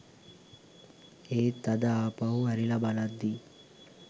ඒත් අද ආපහු හැරිල බලද්දි